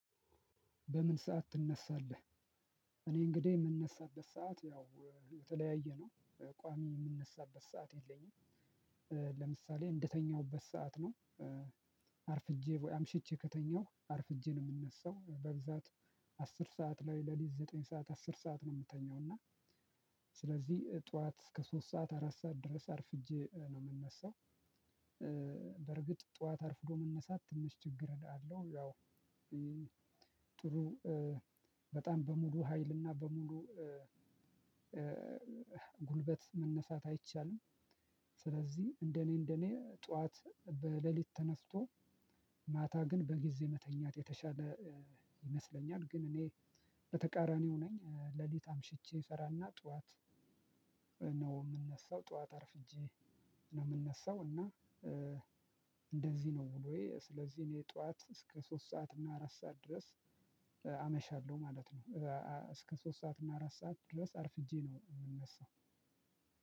በምን ሰዓት ትነሳለህ? እኔ እንግዲህ የምነሳበት ሰዓት ያው የተለያየ ነው ቋሚ የምነሳበት ሰዓት የለኝም። ለምሳሌ እንደተኛሁበት ሰዓት ነው። አርፍጄ ወይ አምሽቼ ከተኛሁ አርፍጄ ነው ምነሳው በብዛት። አስር ሰዓት ላይ ለሊት ዘጠኝ ሰዓት አስር ሰዓት ነው ምተኛው እና። ስለዚህ ጠዋት እስከ ሶስት ሰዓት አራት ሰዓት ድረስ አርፍጄ ነው ምነሳው። በርግጥ ጠዋት አርፍዶ መነሳት ትንሽ ችግር እላለሁ ያው። ጥሩ በጣም በሙሉ ሀይልና በሙሉ ጉልበት መነሳት አይቻልም። ስለዚህ እንደኔ እንደኔ ጠዋት በሌሊት ተነፍቶ ማታ ግን በጊዜ መተኛት የተሻለ ይመስለኛል። ግን እኔ በተቃራኒው ነኝ። ሌሊት አምሽቼ እሰራና ጠዋት ነው የምነሳው ጠዋት አርፍጄ ነው የምነሳው። እና እንደዚህ ነው ውሎዬ ስለዚህ እኔ ጠዋት እስከ ሶስት ሰዓት እና አራት ሰዓት ድረስ ማለት ነው። እስከ ሶስት ሰዓት እና አራት ሰዓት ድረስ አርፍጄ ነው የምነሳው።